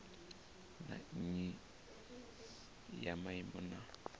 na nnyi ya maimo na